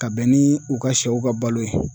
Ka bɛn ni u ka sɛw ka balo ye.